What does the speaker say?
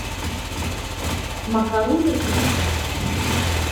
макароны рецепт